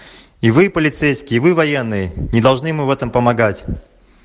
и вы полицейский вы военные не должны в этом помогать